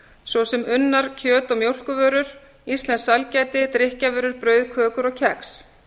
svo sem unnar kjöt og mjólkurvörur íslenskt sælgæti brauð kökur og kex